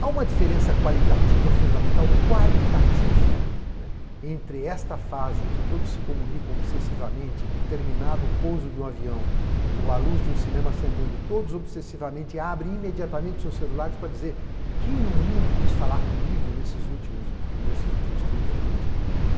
Há uma diferença qualitativa, fundamental, qualitativa, entre esta fase em que todos se comunicam obsessivamente, que terminado o pouso de um avião ou a luz de um cinema acendendo, todos obsessivamente abrem imediatamente seus celulares para dizer quem no mundo quis falar comigo nesses últimos trinta minutos?